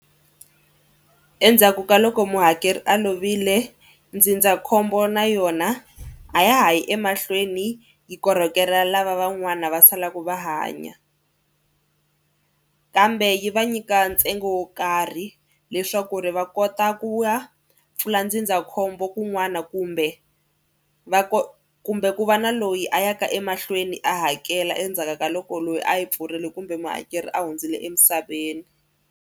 Endzhaku ka loko muhakeri a lovile ndzindzakhombo na yona a ya ha yi emahlweni yi korhokela lava van'wana va salaku va hanya kambe yi va nyika ntsengo wo karhi leswaku ri va kota ku ya pfula ndzindzakhombo kun'wana kumbe va kumbe ku va na loyi a ya ka emahlweni a hakela endzhaku ka loko loyi a yi pfurile kumbe muhakeri a hundzile emisaveni.